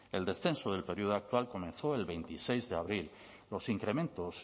el descenso del periodo actual comenzó el veintiséis de abril los incrementos